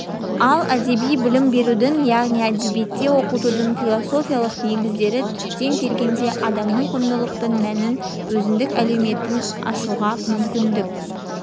ал әдеби білім берудің яғни әдебиетті оқытудың философиялық негіздері түптеп келгенде адамның құндылықтық мәнін өзіндік әлеуетін ашуға мүмкіндік